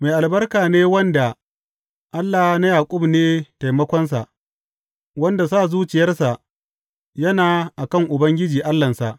Mai albarka ne wanda Allah na Yaƙub ne taimakonsa, wanda sa zuciyarsa yana a kan Ubangiji Allahnsa.